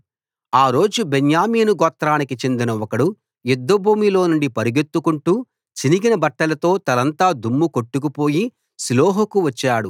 ఆ రోజు బెన్యామీను గోత్రానికి చెందిన ఒకడు యుద్ధభూమిలో నుండి పరుగెత్తుకొంటూ చినిగిన బట్టలతో తలంతా దుమ్ము కొట్టుకుపోయి షిలోహుకు వచ్చాడు